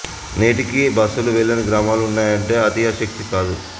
నేటికీ బ స్సులు వెళ్లని గ్రామాలు ఉన్నాయంటే అతిశయోక్తి కాదు